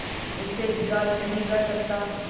उससे बिगाड़ नहीं कर सकता